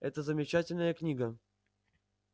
это замечательная книга